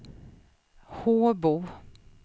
Håbo